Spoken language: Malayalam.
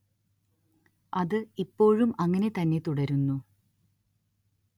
അത് ഇപ്പോഴും അങ്ങനെ തന്നെ തുടരുന്നു